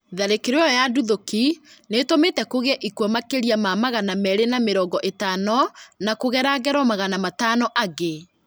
Tharĩkĩro ĩyo ya nduthũki nĩtũmĩte kũgĩe ikuũ makĩria ma magana merĩ ma mĩrongo ĩtano na kũgera ngero magana matano angĩ